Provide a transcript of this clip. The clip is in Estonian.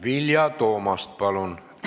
Vilja Toomast, palun!